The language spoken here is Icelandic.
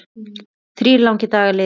Þrír langir dagar liðu.